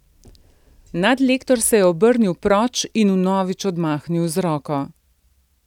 Nadlektor se je obrnil proč in vnovič odmahnil z roko.